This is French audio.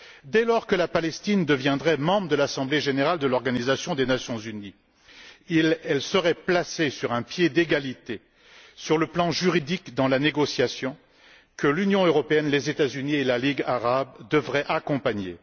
Dès lors que la Palestine deviendrait membre de l'Assemblée générale de l'Organisation des Nations unies, elle serait traitée sur un pied d'égalité, du point de vue juridique, dans la négociation que l'Union européenne, les États Unis et la Ligue arabe devraient accompagner.